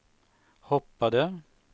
hoppade